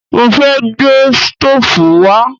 Mo fẹ́ gbé stóòfù wá